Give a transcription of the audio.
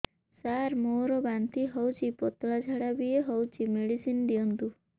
ସାର ମୋର ବାନ୍ତି ହଉଚି ପତଲା ଝାଡା ବି ହଉଚି ମେଡିସିନ ଦିଅନ୍ତୁ